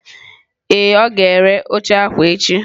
Ee, ọ ga-ere oche akwa akwa echi.